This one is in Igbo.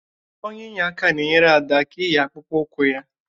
Onye inyeaka na-enyere Ada aka iyi akpụkpọ ụkwụ ya